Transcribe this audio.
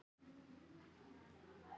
Í þeim leik gekk allt upp.